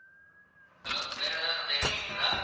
hello வேற ஏதாவது சந்தேகங்கள் இருக்குதா